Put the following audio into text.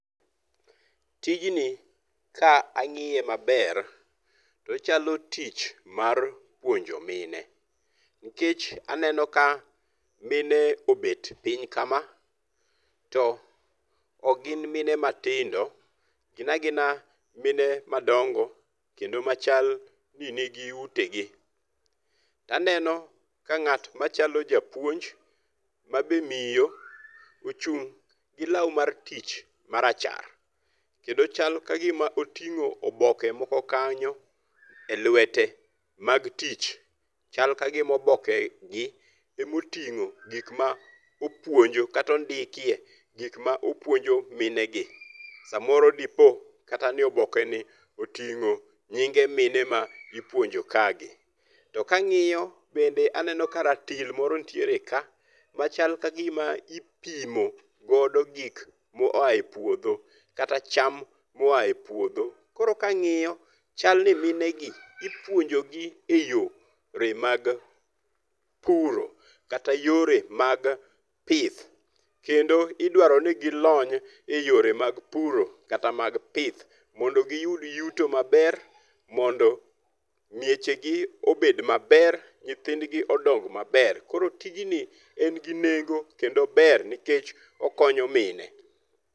Tijni ka ang'iye maber to ochalo tich mar puonjo mine. Nikech aneno ka mine obet piny kama to ok gin mine matindo. Gin agina mine madongo kendo machl ni ni gi ute gi, To aneno ka ng'at machalo japuonj ma be miyo ochung' gi law mar tich marachar. Kendo chal ka gima oting'o oboke moko kanyo e lwete mag tich. Chal ka gima oboke gi omoting'o gik ma opuonjo kata ondikie gik ma opuonjo mine gi. Samoro dipo kata ni oboke ni oting'o nyinge mine ma ipuonjo ka gi. To ka ang'iyo bende aneno ka ratil moro nitiere ka machal ka gima ipimo godo gik moa e puodho kata cham moa e puodho. Koro ka ang'iyo chal ni mine gi ipuonjo gi e yore mag puro kata yore mag pith. Kendo idwaro ni gilony e yore mag puro kata mag pith mondo giyud yuto maber mondo mieche gi obed maber nyithindgi odong maber. Koro tijni en gi nengo kendo ober nikech okonyo mine.